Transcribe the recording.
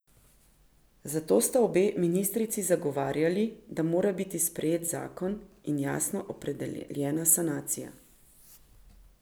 Zato sta obe ministrici zagovarjali, da mora biti sprejet zakon in jasno opredeljena sanacija.